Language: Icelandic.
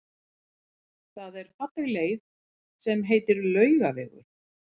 Það er falleg leið sem heitir Laugavegur.